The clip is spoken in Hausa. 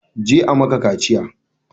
Je a maka kaciya!